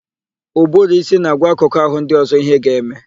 Ụbụrụísí na-agwa akụkụ àhụ́ ndị ọ̀zọ́ íhé ha ga-eme.